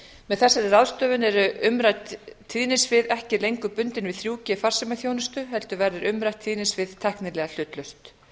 með þessari ráðstöfun eru umrædd tíðnisvið ekki lengur bundin við þrjú g farsímaþjónustu heldur verður umrætt tíðnisvið tæknilega hlutlaust